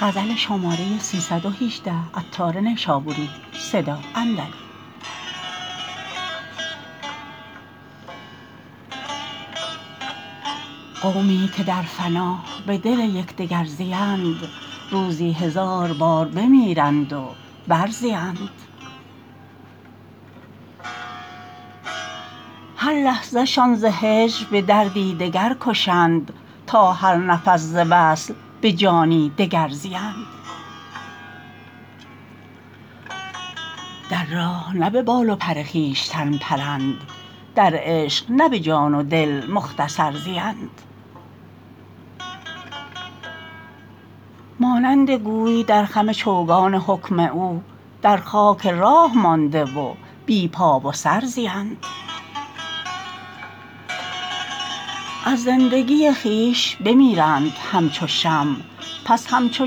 قومی که در فنا به دل یکدگر زیند روزی هزار بار بمیرند و بر زیند هر لحظه شان ز هجر به دردی دگر کشند تا هر نفس ز وصل به جانی دگر زیند در راه نه به بال و پر خویشتن پرند در عشق نه به جان و دل مختصر زیند مانند گوی در خم چوگان حکم او در خاک راه مانده و بی پا و سر زیند از زندگی خویش بمیرند همچو شمع پس همچو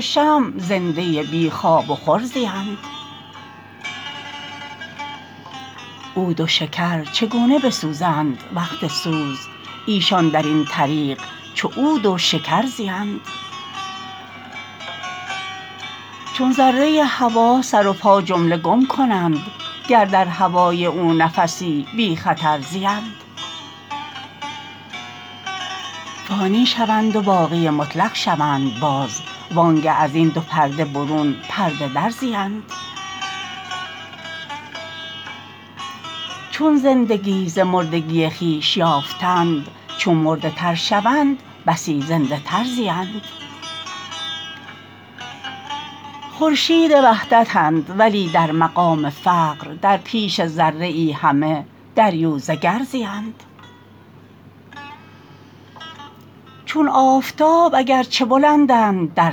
شمع زنده بی خواب و خور زیند عود و شکر چگونه بسوزند وقت سوز ایشان درین طریق چو عود و شکر زیند چون ذره هوا سر و پا جمله گم کنند گر در هوای او نفسی بی خطر زیند فانی شوند و باقی مطلق شوند باز وانگه ازین دو پرده برون پرده در زیند چون زندگی ز مردگی خویش یافتند چون مرده تر شوند بسی زنده تر زیند خورشید وحدتند ولی در مقام فقر در پیش ذره ای همه دریوزه گر زیند چون آفتاب اگرچه بلندند در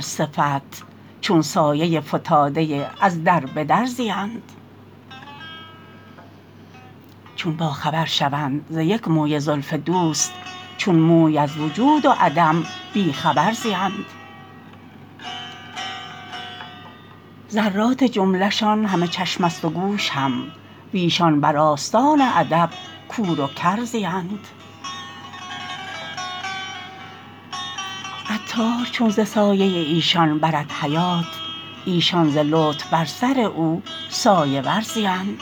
صفت چون سایه فتاده از در بدر زیند چون با خبر شوند ز یک موی زلف دوست چون موی از وجود و عدم بی خبر زیند ذرات جمله شان همه چشم است و گوش هم ویشان بر آستان ادب کور و کر زیند عطار چون ز سایه ایشان برد حیات ایشان ز لطف بر سر او سایه ور زیند